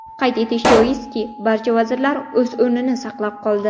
Qayd etish joizki, barcha vazirlar o‘z o‘rnini saqlab qoldi.